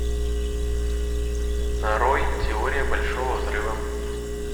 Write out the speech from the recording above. нарой теория большого взрыва